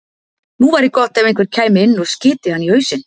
Nú væri gott ef einhver kæmi inn og skyti hann í hausinn.